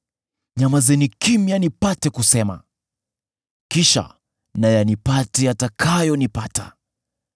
“Nyamazeni kimya nipate kusema; kisha na yanipate yatakayonipata.